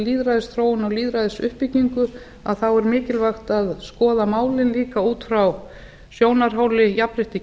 allri lýðræðisþróun og lýðræðisuppbyggingu er mikilvægt að skoða málin líka út frá sjónarhóli jafnréttis